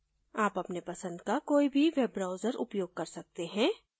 आप अपने पसंद का कोई भी web browser उपयोग कर सकते हैं